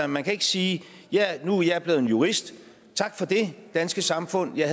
man kan ikke sige nu er jeg blevet jurist tak for det danske samfund jeg